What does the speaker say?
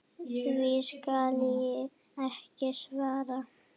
Því skal ekki svarað.